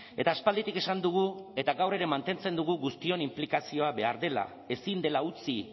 eta aspalditik esan dugu eta gaur ere mantentzen dugu guztion inplikazioa behar dela ezin dela utzi